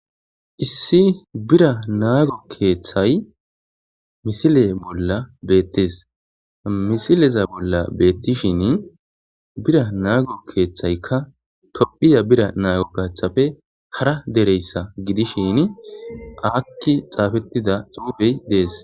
issi bira naago keeththay misile bolla beettes misileza bolla beettishin bira naago keeththaykka tophiya bira naago gachthafe hara dereyssa gidishin akki xaafettida xuufey dees